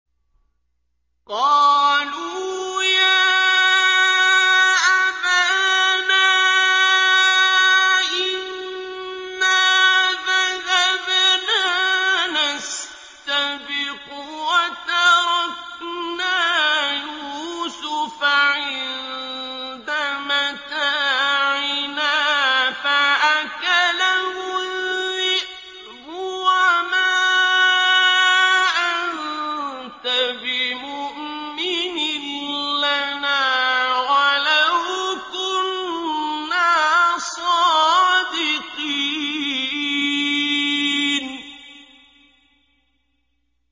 قَالُوا يَا أَبَانَا إِنَّا ذَهَبْنَا نَسْتَبِقُ وَتَرَكْنَا يُوسُفَ عِندَ مَتَاعِنَا فَأَكَلَهُ الذِّئْبُ ۖ وَمَا أَنتَ بِمُؤْمِنٍ لَّنَا وَلَوْ كُنَّا صَادِقِينَ